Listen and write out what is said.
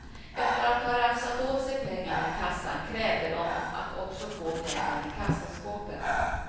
Efter att ha rafsat åt sig pengarna i kassan krävde de att också få pengarna i kassaskåpet.